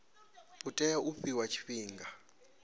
u tea u fhiwa tshifhinga